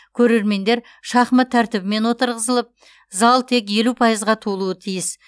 көрермендер шахмат тәртібімен отырғызылып зал тек елу пайызға толуы тиіс